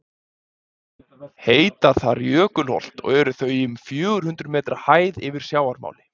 heita þar jökulholt og eru þau í um fjögur hundruð metra hæð yfir sjávarmáli